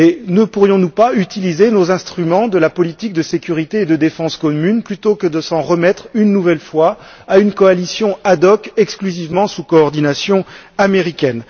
Ne pourrions nous pas utiliser nos instruments de la politique de sécurité et de défense commune plutôt que de nous en remettre, une nouvelle fois, à une coalition ad hoc sous coordination exclusivement américaine?